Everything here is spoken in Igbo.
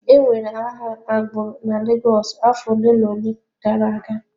E nwere agha agbụrụ na Lagos afọ ole na ole gara aga.